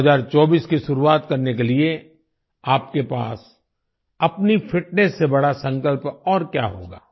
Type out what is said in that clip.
2024 की शुरुआत करने के लिए आपके पास अपनी फिटनेस से बड़ा संकल्प और क्या होगा